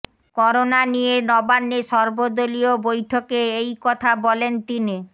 corona নিয়ে নবান্নে সর্বদলীয় বৈঠকে এই কথা বলেন তিনি